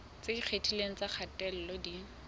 tse ikgethileng tsa kgatello di